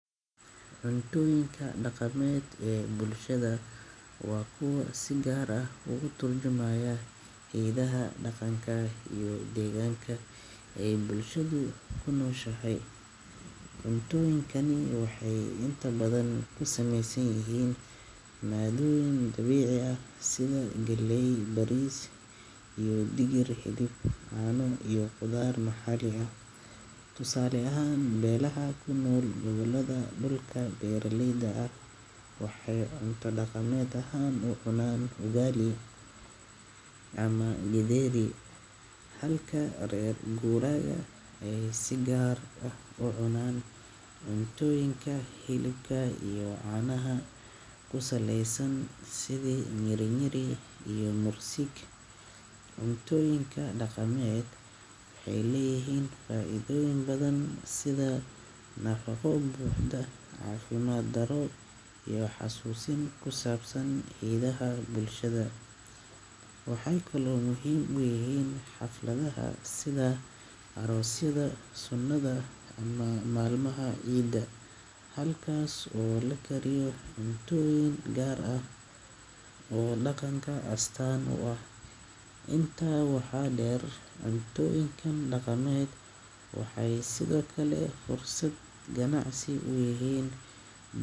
Cuntooyinka dhaqameed ee bulshada waa kuwa si gaar ah uga turjumaya hidaha, dhaqanka, iyo deegaanka ay bulshadu ku nooshahay. Cuntooyinkani waxay inta badan ka samaysan yihiin maaddooyin dabiici ah sida galley, bariis, digir, hilib, caano, iyo khudaar maxalli ah. Tusaale ahaan, beelaha ku nool gobollada dhulka beeralayda ah waxay cunto dhaqameed ahaan u cunaan ugali ama githeri, halka reer guuraaga ay si gaar ah u cunaan cuntooyinka hilibka iyo caanaha ku saleysan sida nyirinyiri iyo mursik. Cuntooyinka dhaqameed waxay leeyihiin faa’iidooyin badan sida nafaqo buuxda, caafimaad darro yar, iyo xasuusin ku saabsan hiddaha bulshada. Waxay kaloo muhiim u yihiin xafladaha sida aroosyada, sunnada, ama maalmaha ciida, halkaas oo la kariyo cuntooyin gaar ah oo dhaqanka astaan u ah. Intaa waxaa dheer, cuntooyinkan dhaqameed waxay sidoo kale fursad ganacsi u yihiin.